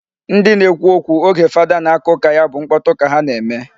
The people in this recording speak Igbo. Ndị na-ekwu okwu oge fada na-aka ụka ya bụ mkpọtụ ka ha na-eme.